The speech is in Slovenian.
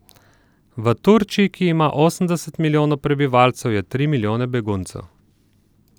V Turčiji, ki ima osemdeset milijonov prebivalcev, je tri milijone beguncev.